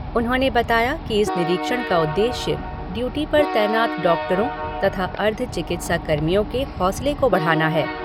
उन्होंने बताया कि इस निरीक्षण का उद्देश्य ड्यूटी पर तैनात डॉक्टरों तथा अर्ध चिकित्सा कर्मियों के हौसले को बढ़ाना है।